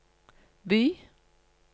by